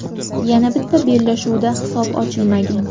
Yana bitta bellashuvda hisob ochilmagan.